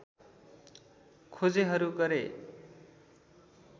खोजेहरू गरे